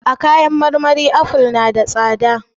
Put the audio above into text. A kayan marmari aful na da tsada.